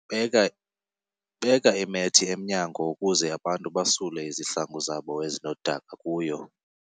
Beka beka imethi emnyango ukuze abantu basule izihlangu zabo ezinodaka kuyo.